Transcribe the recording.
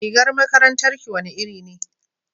rigar makarantar ki wani iri ne